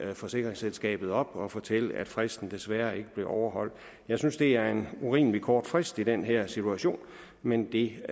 forsikringsselskabet op og fortælle at fristen desværre ikke blev overholdt jeg synes det er en urimelig kort frist i den her situation men det